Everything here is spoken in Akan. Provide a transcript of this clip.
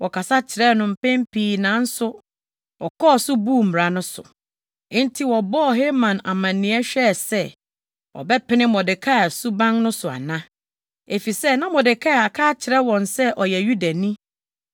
Wɔkasa kyerɛɛ no mpɛn pii nanso ɔkɔɔ so buu mmara no so. Enti wɔbɔɔ Haman amanneɛ hwɛɛ sɛ ɔbɛpene Mordekai suban no so ana, efisɛ na Mordekai aka akyerɛ wɔn sɛ ɔyɛ Yudani.